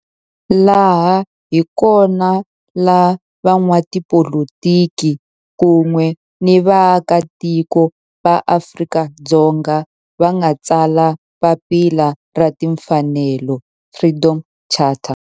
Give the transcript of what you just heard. Laha hi kona la van'watipolitiki kun'we ni vaaka tiko va Afrika-Dzonga va nga tsala papila ra timfanelo, Freedom Charter.